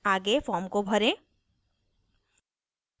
आगे form को भरें